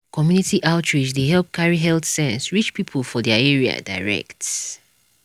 community outreach dey help carry health sense reach people for their area direct.